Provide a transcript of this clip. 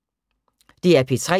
DR P3